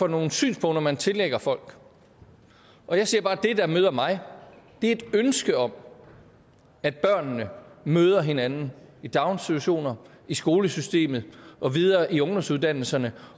nogle synspunkter man tillægger folk og jeg siger bare at det der møder mig er et ønske om at børnene møder hinanden i daginstitutioner og i skolesystemet og videre i ungdomsuddannelserne